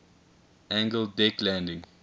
angled deck landing